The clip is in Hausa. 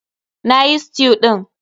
Na yi stew ɗin.